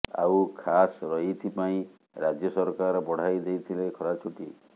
ଆଉ ଖାସ ଏଇଥିପାଇଁ ରାଜ୍ୟ ସରକାର ବଢ଼ାଇ ଦେଇଥିଲେ ଖରା ଛୁଟି